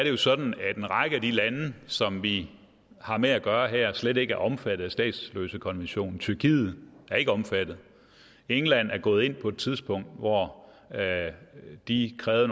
jo sådan at en række af de lande som vi har med at gøre her slet ikke omfattet af statsløsekonventionen tyrkiet er ikke omfattet england er gået ind på et tidspunkt hvor de krævede